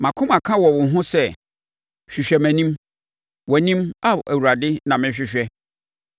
Mʼakoma ka wɔ wo ho sɛ, “Hwehwɛ nʼanim!” Wʼanim, Ao Awurade na mɛhwehwɛ.